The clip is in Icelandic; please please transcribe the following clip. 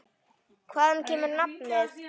Hvaðan kemur nafnið?